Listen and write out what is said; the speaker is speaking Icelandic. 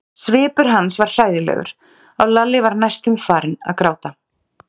Svipur hans var hræðilegur og Lalli var næstum farinn að gráta.